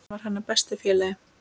Hann var hennar besti félagi.